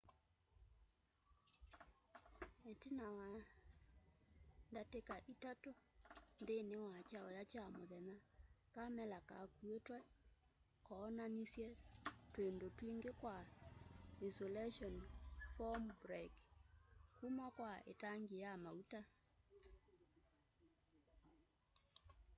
itina wa datika 3 nthini wa kyauya kya muthenya kamela kakuitwe kaonanisye twindu twingi twa insulation form break kuma kwa itanki ya mauta